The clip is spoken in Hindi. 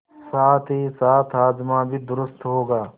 साथहीसाथ हाजमा भी दुरूस्त होगा